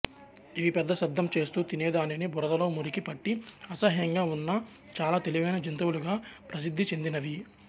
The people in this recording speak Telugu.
ఇవి పెద్ద శబ్దం చేస్తూ తినేదానికి బురదతో మురికి పట్టి అసహ్యంగా ఉన్నా చాలా తెలివైన జంతువులుగా ప్రసిద్ధిచెందినవి